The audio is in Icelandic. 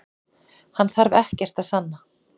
Hann þarf ekkert að sanna